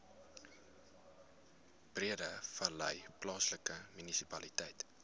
breedevallei plaaslike munisipaliteit